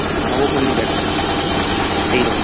নবপল্লীতে একটা পুজো হলো এইরকম